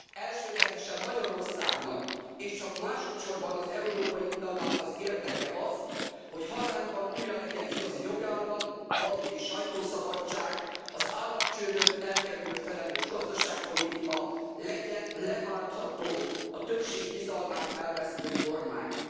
Elsődlegesen Magyarországnak és csak másodsorban az Európai Uniónak az érdeke az, hogy hazánkban újra legyen igazi jogállam, valódi sajtószabadság, az államcsődöt elkerülő felelős gazdaságpolitika, legyen leváltható a többség bizalmát elvesztő kormány.